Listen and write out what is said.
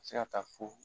Se ka taa fo